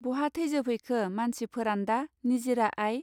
बहा थैजोब हैखो मानसि फोरान्दा निजिरा आइ.